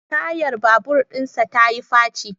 Tayar babur dinsa ta yi faci